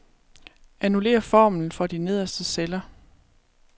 Annullér formlen for de nederste celler.